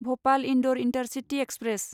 Bhopal Indore intercity express